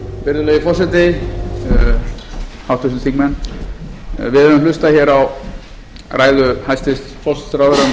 virðulegi forseti háttvirtir þingmenn við höfum hlustað hér á ræðu hæstvirts forsætisráðherra um horfur í